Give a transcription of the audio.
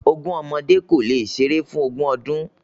Ogún ọmọdé kólé ṣeré fún ògún ọdún